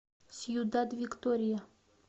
сьюдад виктория